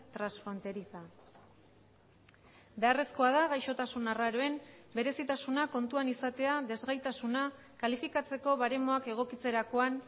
transfronteriza beharrezkoa da gaixotasun arraroen berezitasuna kontuan izatea desgaitasuna kalifikatzeko baremoak egokitzerakoan